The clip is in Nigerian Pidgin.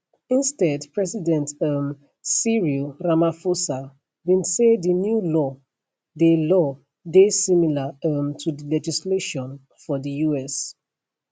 instead president um cyril ramaphosa bin say di new law dey law dey similar um to di legislation for di us